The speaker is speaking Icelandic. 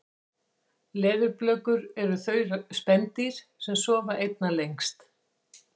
leðurblökur eru þau spendýr sem sofa einna lengst